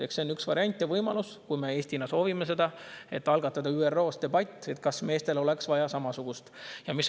Eks see on üks variant ja võimalus: kui me Eestis soovime seda, siis algatada ÜRO-s debatt, kas meestel oleks vaja samasugust.